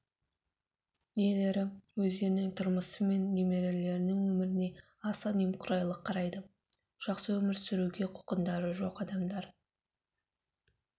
иелері өздерінің тұрмысы мен немерелерінің өміріне аса немқұрайлы қарайды жақсы өмір сүруге құлқындары жоқ адамдар